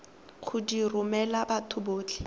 go di romela batho botlhe